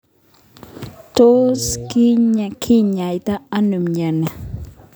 Tos kinyaita ano mnyeni?